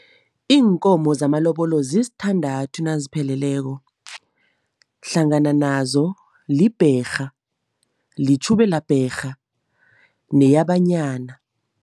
Iinkomo zamalobolo zisithandathu nazipheleleko, hlangana nazo libherha, litjhubela bherha neyabanyana.